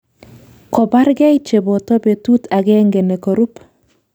Kobargei cheboto betut agenge ne korup